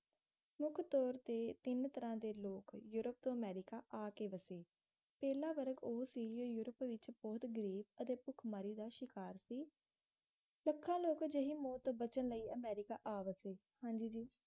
ਮੁੱਖ ਤੋਰ ਤੇ ਤਿੰਨ ਤਰ੍ਹਾਂ ਦੇ ਲੋਕ ਯੂਰੋਪ ਤੋਂ ਅਮੈਰਿਕਾ ਆਕੇ ਵਸੇ ਪਹਿਲਾ ਵਰਗ ਉਹ ਸੀ ਜੋ ਯੂਰੋਪ ਵਿੱਚ ਬਹੁਤ ਗਰੀਬ ਅਤੇ ਭੁਖਮਰੀ ਦਾ ਸ਼ਿਕਾਰ ਸੀ ਲੱਖਾਂ ਲੋਕ ਅਜਿਹੇ ਮੌਤ ਤੋਂ ਬਚਨ ਲਈ ਅਮਰੀਕਾ ਆ ਵਸੇ ਹਾਂਜੀ ਜੀ